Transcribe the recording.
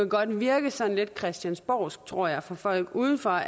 godt virke sådan lidt christiansborgsk tror jeg for folk udefra